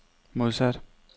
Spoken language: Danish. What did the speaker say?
modsat